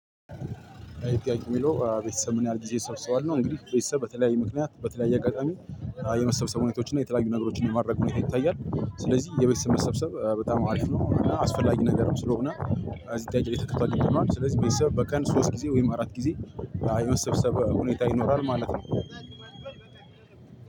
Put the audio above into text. አይጠይቁም የሚለው ቤተሰብ ምን ያህል ጊዜ ይሰበሰባል ነው? እንግዲህ ቤተሰብ በተለያየ ምክንያት በተለያየ አጋጣሚ የመሰብሰብ ሁኔታዎችን እና የተለያዩ ነገሮችን የማድረግ ሁኔታ ይታያል። ስለዚህ የቤተሰብ መሰብሰብ በጣም አሪፍ ነው። አስፈላጊ ነገርም ስለሆነ አዚህ ጥያቄ ላይ ተከትሎ ነው። ስለዚህ ቤተሰብ በቀን ሶስት ጊዜ ወይም አራት ጊዜ የመሰብሰብ ሁኔታ ይኖራል ማለት ነው።